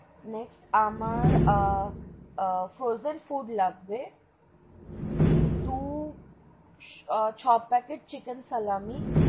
Next আমার frozen food লাগবে দু ছ packet চিকেন সালামী।